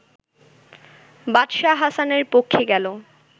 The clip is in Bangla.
বাদশাহ হাসানের পক্ষে গেল